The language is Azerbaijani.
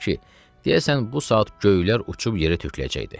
deyəsən bu saat göylər uçub yerə töküləcəkdi.